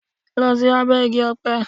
Lọ sí abẹ́ Igi-ọpẹ.